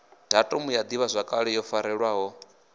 gammba ya ḓivhazwakale yo farelwaho